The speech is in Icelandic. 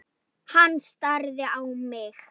Hann starði á mig.